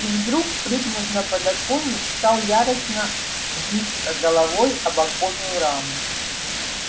и вдруг прыгнув на подоконник стал яростно биться головой об оконную раму